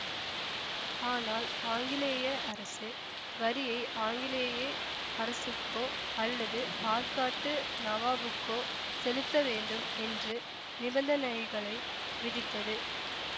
ஆனால் ஆங்கிலேய அரசு வரியை ஆங்கிலேயே அரசுக்கோ அல்லது ஆற்காட்டு நவாப்புக்கோ செலுத்த வேண்டும் என்று நிபந்தனைகளை விதித்தது